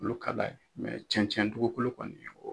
Olu ka d'a ye cɛncɛn dugukolo kɔni o